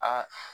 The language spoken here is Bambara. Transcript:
Aa